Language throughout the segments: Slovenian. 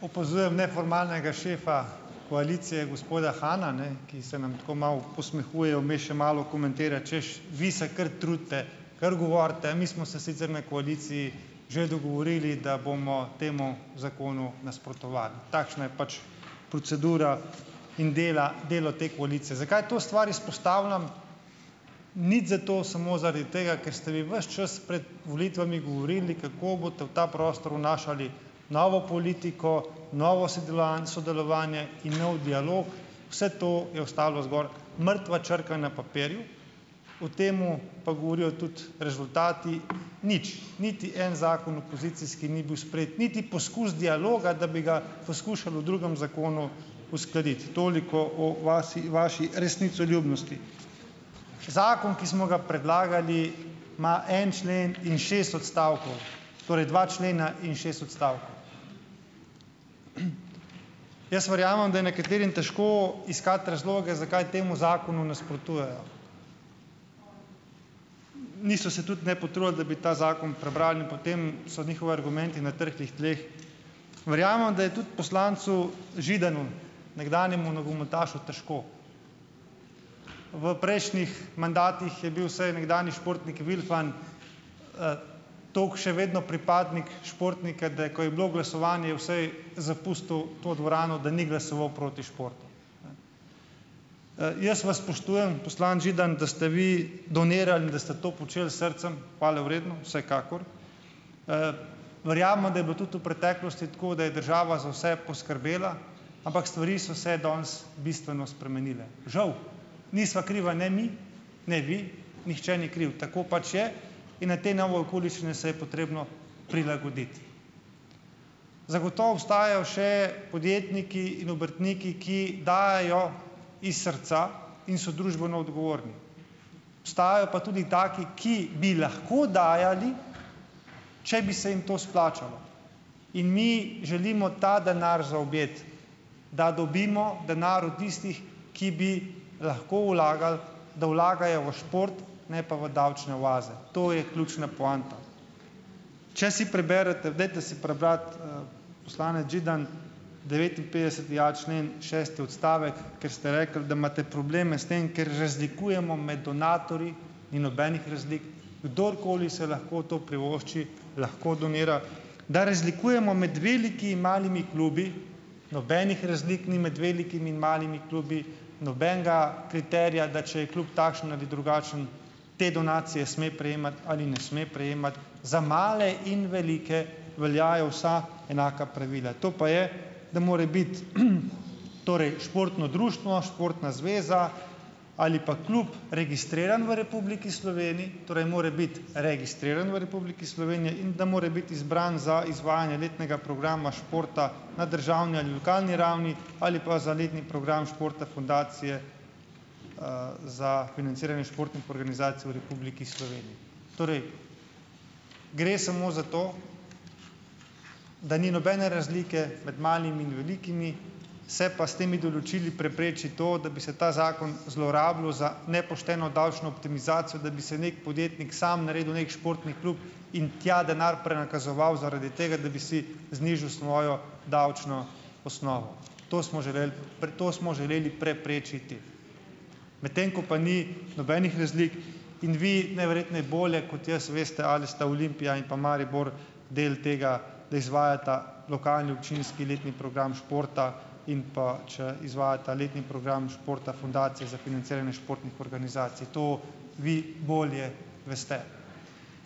Opazujem neformalnega šefa koalicije, gospoda Hana, ne, ki se nam tako malo posmehuje, vmes še malo komentira, češ, vi se kar trudite, kar govorite, mi smo se sicer na koaliciji že dogovorili, da bomo temu zakonu nasprotovali. Takšna je pač procedura in dela delo te koalicije. Zakaj to stvar izpostavljam? Nič zato, samo zaradi tega, ker ste vi ves čas prej volitvami govorili, kako boste v ta prostor vnašali novo politiko, novo sedelovanco sodelovanje in nov dialog. Vse to je ostalo zgolj mrtva črka na papirju. O tem pa govorijo tudi rezultati. Nič. Niti en zakon opozicijski ni bil sprejet. Niti poskus dialoga, da bi ga poskušali v drugem zakonu uskladiti. Toliko o vasi vaši resnicoljubnosti. Zakon, ki smo ga predlagali, ima en člen in šest odstavkov. Torej, dva člena in šest odstavkov. Jaz verjamem, da je nekaterim težko iskati razloge, zakaj temu zakonu nasprotujejo. Niso se tudi ne potrudili, da bi ta zakon prebrali, in potem so njihovi argumenti na trhlih tleh. Verjamem, da je tudi poslancu Židanu, nekdanjemu nogometašu, težko. V prejšnjih mandatih je bil vsaj nekdanji športnik Vilfan tako še vedno pripadnik športnike, da je, ko je bilo glasovanje, je vsaj zapustil to dvorano, da ni glasoval proti športu, ne. jaz vas spoštujem, poslanec Židan, da ste vi donirali in da ste to počeli s srcem - hvalevredno, vsekakor. Verjamem, da je bilo tudi v preteklosti tako, da je država za vse poskrbela. Ampak stvari so se danes bistveno spremenile. Žal. Nisva kriva ne mi, ne vi, nihče ni kriv. Tako pač je. In na te nove okoliščine se je potrebno prilagoditi. Zagotovo obstajajo še podjetniki in obrtniki, ki dajejo iz srca in so družbeno odgovorni. Obstajajo pa tudi taki, ki bi lahko dajali, če bi se jim to splačalo. In mi želimo ta denar zaobjeti. Da dobimo denar od istih, ki bi lahko vlagali, da vlagajo v šport, ne pa v davčne oaze. To je ključna poanta. Če si preberete - dajte si prebrati, poslanec Židan, devetinpetdeseti a člen, šesti odstavek, ker ste rekli, da imate probleme s tem, ker razlikujemo med donatorji - ni nobenih razlik. Kdorkoli se lahko to privošči, lahko donira. Da razlikujemo med veliki in malimi klubi - nobenih razlik ni med velikimi in malimi klubi, nobenega kriterija, da če je klub takšen ali drugačen, te donacije sme prejemati ali ne sme prejemati. Za male in velike veljajo vsa enaka pravila. To pa je - da mora biti, torej športno društvo, športna zveza ali pa klub registriran v Republiki Sloveniji. Torej mora biti registriran v Republiki Sloveniji. In da mora biti izbran za izvajanje letnega programa športa na državni ali lokalni ravni ali pa za letni program športa fundacije za financiranje športnih organizacij v Republiki Sloveniji. Torej, gre samo za to, da ni nobene razlike med malimi in velikimi, se pa s temi določili prepreči to, da bi se ta zakon zlorabljal za nepošteno davčno optimizacijo, da bi si neki podjetnik sam naredil neki športni klub in tja denar prenakazoval zaradi tega, da bi si znižal svojo davčno osnovo. To smo želeli, to smo želeli preprečiti. Medtem ko pa ni nobenih razlik. In vi najverjetneje bolje kot jaz veste, ali sta Olimpija in pa Maribor del tega, da izvajata lokalni, občinski letni program športa in pa, če izvajata letni program športa fundacije za financiranje športnih organizacij. To vi bolje veste.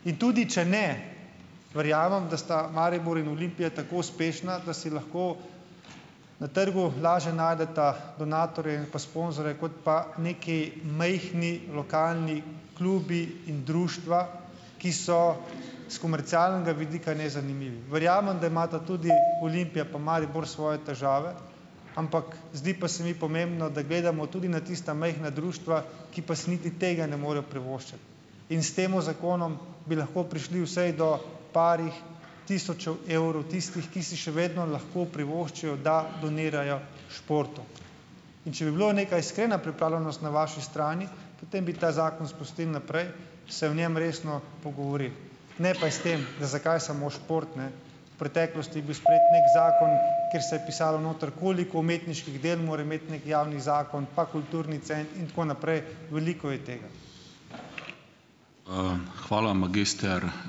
In tudi če ne - verjamem, da sta Maribor in Olimpija tako uspešna, da si lahko na trgu lažje najdeta donatorje pa sponzorje kot pa neki majhni lokalni klubi in društva, ki so s komercialnega vidika nezanimivi. Verjamem, da imata tudi Olimpija pa Maribor svoje težave, ampak zdi pa se mi pomembno, da gledamo tudi na tista majhna društva, ki pa si niti tega ne morejo privoščiti. In s tem zakonom bi lahko prišli vsaj do parih tisočev evrov tistih, ki si še vedno lahko privoščijo, da donirajo športu. In če bi bila neka iskrena pripravljenost na vaši strani, potem bi ta zakon spustili naprej, se o njem resno pogovorili. Ne pa s tem, zakaj samo šport, ne. V preteklosti je bil sprejet neki zakon, kjer se je pisalo noter, koliko umetniških del mora imeti neki javni zakon pa kulturni in tako naprej. Veliko je tega.